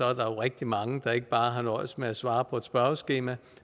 rigtig mange der ikke bare nøjes med at svare på et spørgeskema